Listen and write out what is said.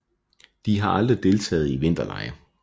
De har aldrig deltaget i vinterlege